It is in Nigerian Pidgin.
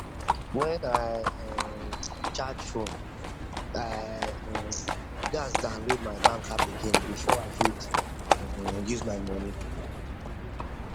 when i um change phone i um gats download my bank app again before i fit um use my money